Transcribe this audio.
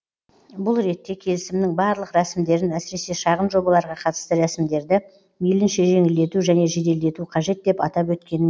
бұл ретте келісімнің барлық рәсімдерін әсіресе шағын жобаларға қатысты рәсімдерді мейлінше жеңілдету және жеделдету қажет деп атап өткен